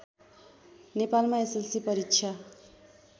नेपालमा एसएलसी परीक्षा